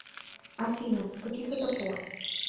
афина с каких это пор